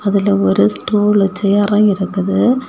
அதுல ஒரு ஸ்டூல் வெச்சு அரோ இருக்குது.